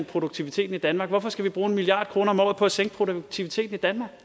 produktiviteten i danmark hvorfor skal vi så bruge en milliard kroner om året på at sænke produktiviteten i danmark